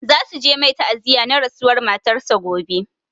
Za su je mai ta'aziya na rasuwar matar sa gobe